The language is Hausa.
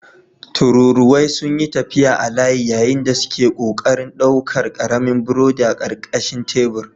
Tururuwai sun yi tafiya a layi yayin da suke ƙoƙarin ɗaukar ƙaramin burodi a ƙarƙashin tebur.